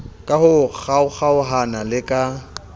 ka ho kgaokgaoha le ka